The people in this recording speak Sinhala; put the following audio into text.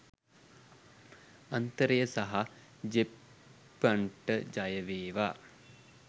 අන්තරය සහ ජෙප්පන්ට ජය වේවා